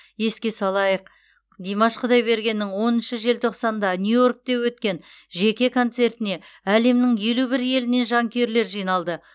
еске салайық димаш құдайбергеннің оныншы желтоқсанда нью йоркте өткен жеке концертіне әлемнің елу бір елінен жанкүйерлер жиналды